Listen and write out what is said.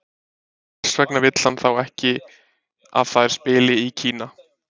Hvers vegna vill hann þá ekki að þær spili í Kína?